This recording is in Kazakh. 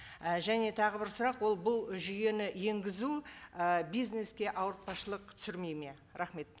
і және тағы бір сұрақ ол бұл жүйені енгізу і бизнеске ауыртпашылық түсірмейді ме рахмет